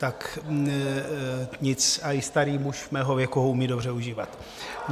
Tak nic, i starý muž mého věku ho umí dobře užívat.